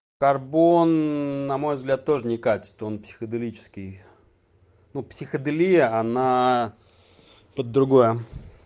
карбон на мой взгляд тоже не катит он психоделический ну психоделия она под другое